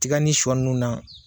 Tiga ni shɔ nunnu na.